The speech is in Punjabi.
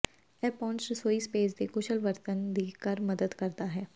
ਇਹ ਪਹੁੰਚ ਰਸੋਈ ਸਪੇਸ ਦੇ ਕੁਸ਼ਲ ਵਰਤਣ ਦੀ ਕਰ ਮਦਦ ਕਰਦਾ ਹੈ